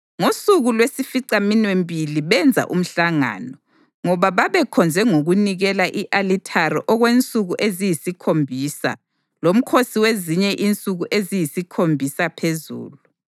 Ngosuku lwesificaminwembili benza umhlangano, ngoba babekhonze ngokunikela i-alithari okwensuku eziyisikhombisa lomkhosi wezinye insuku eziyisikhombisa phezulu.